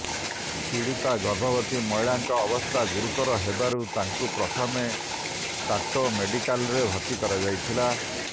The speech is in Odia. ପିଡୀତା ଗର୍ଭବତୀ ମହିଳାଙ୍କ ଅବସ୍ଥା ଗୁରୁତର ହେବାରୁ ତାଙ୍କୁ ପ୍ରଥମେ ତାଟୋ ମେଡିକାଲରେ ଭର୍ତ୍ତି କରାଯାଇଥିଲା